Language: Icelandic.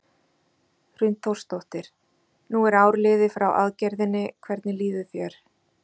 Hrund Þórsdóttir: Nú er ár liðið frá aðgerðinni, hvernig líður þér?